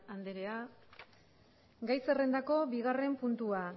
anderea gai zerrendako bigarren puntua